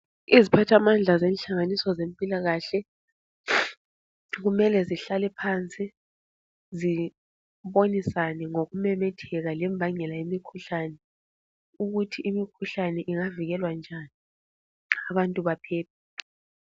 Iziphathamandla zenhlanganiso zempilakahle kumele zihlale phansi zibonisane ngokumemetheka lembangela yemikhuhlane ukuthi imikhuhlane ingavikelwa njani abantu baphile.